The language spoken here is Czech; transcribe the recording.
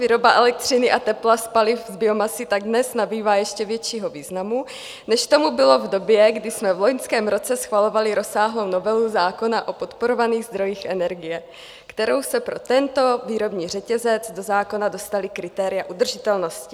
Výroba elektřiny a tepla z paliv, z biomasy tak dnes nabývá ještě většího významu, než tomu bylo v době, kdy jsme v loňském roce schvalovali rozsáhlou novelu zákona o podporovaných zdrojích energie, kterou se pro tento výrobní řetězec do zákona dostala kritéria udržitelnosti.